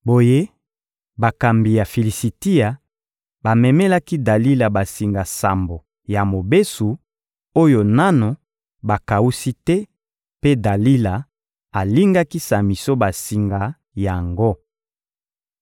Boye, bakambi ya Filisitia bamemelaki Dalila basinga sambo ya mobesu, oyo nanu bakawusi te, mpe Dalila alingaki Samison basinga yango.